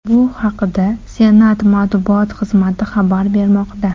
Bu haqda Senat matbuot xizmati xabar bermoqda.